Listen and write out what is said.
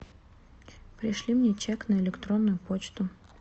пришли мне чек на электронную почту